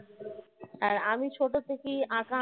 আর আমি ছোট থেকেই আঁকা আঁকি